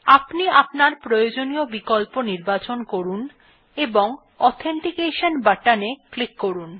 আপনি আপনার প্রয়োজনীয় বিকল্প নির্বাচন করুন এবং অথেন্টিকেশন বাটনে ক্লিক করুন